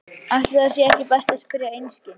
Ætli það sé ekki best að spyrja einskis.